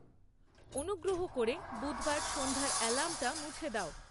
অনুগ্রহ করে বুধবার সন্ধ্যার অ্যালার্মটা মুছে দাও